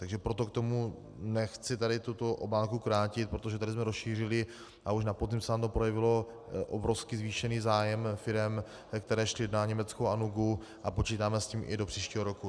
Takže proto k tomu nechci tady tuto obálku krátit, protože tady jsme rozšířili a už na podzim se nám to projevilo - obrovsky zvýšený zájem firem, které šly na německou Anugu, a počítáme s tím i do příštího roku.